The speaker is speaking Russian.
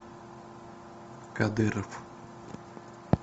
кадыров